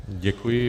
Děkuji.